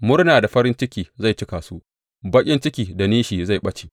Murna da farin ciki zai cika su, baƙin ciki da nishi zai ɓace.